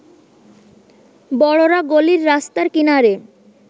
বড়রা গলির রাস্তার কিনারে